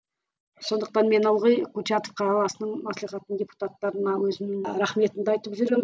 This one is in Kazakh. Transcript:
сондықтан мен ылғи курчатов қаласының маслихатының депутаттарына өзімнің рахметімді айтып жүремін